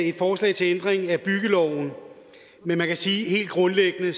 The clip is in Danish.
et forslag til ændring af byggeloven men man kan sige helt grundlæggende at